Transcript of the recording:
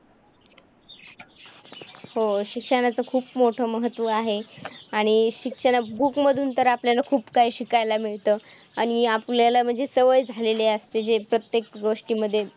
हो, शिक्षणाचं खूप मोठं महत्त्व आहे आणि शिक्षणात book मधून तर आपल्याला खूप काही शिकायला मिळतं आणि आपल्याला म्हणजे सवय झालेली असते जे प्रत्येक गोष्टीमध्ये